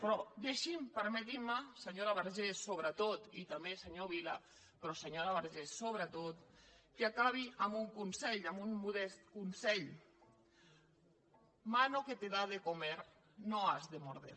però deixin me permetin me senyora vergés sobretot i també senyor vila però senyora vergés sobretot que acabi amb un consell amb un modest consell mano que te da de comer no has de morder